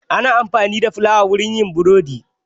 Ana amfani da fulawa wurin yin burodi.